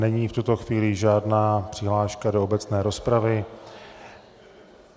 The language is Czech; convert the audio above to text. Není v tuto chvíli žádná přihláška do obecné rozpravy.